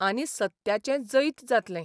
आनी सत्याचें जैत जातलें.